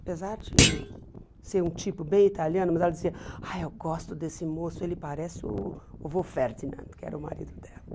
Apesar de ser um tipo bem italiano, mas ela dizia, ai eu gosto desse moço, ele parece o o vô Ferdinand, que era o marido dela.